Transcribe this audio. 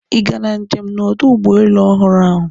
Ị gara njem na ọdụ ụgbọ elu ọhụrụ ahụ